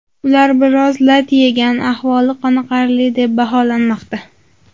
Ular biroz lat yegan, ahvoli qoniqarli deb baholanmoqda.